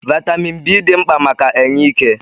Vaịtamin B dị mkpa maka enye ike.